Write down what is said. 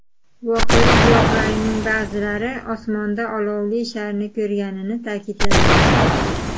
Voqea guvohlarining ba’zilari osmonda olovli sharni ko‘rganini ta’kidlagan.